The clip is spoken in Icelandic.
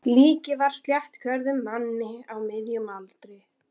Líkið var af sléttrökuðum manni á miðjum aldri.